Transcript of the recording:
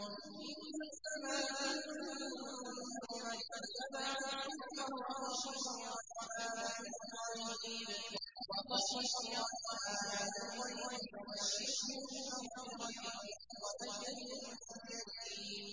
إِنَّمَا تُنذِرُ مَنِ اتَّبَعَ الذِّكْرَ وَخَشِيَ الرَّحْمَٰنَ بِالْغَيْبِ ۖ فَبَشِّرْهُ بِمَغْفِرَةٍ وَأَجْرٍ كَرِيمٍ